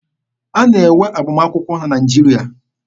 A na-enwe agbamakwụkwọ na Naịjirịa.